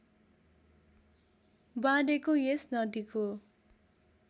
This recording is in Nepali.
बाँडेको यस नदीको